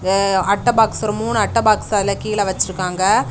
அ அட்டை பாக்ஸ் ஒரு மூணு அட்டை பாக்ஸ் அதுல கீழே வச்சிருக்காங்க.